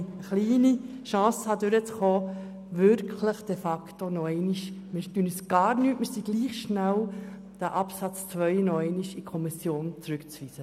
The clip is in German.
Deshalb bitte ich Sie, auch wenn meine Chancen gehört zu werden, klein sind, den Absatz 2 an die Kommission zurückzuweisen.